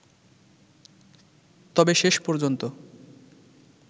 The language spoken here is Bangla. তবে শেষ পর্যন্ত